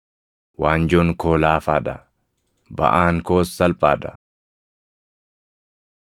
Waanjoon koo laafaa dha; baʼaan koos salphaa dha.”